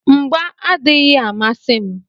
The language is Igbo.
Mgbà adịghị amasị m.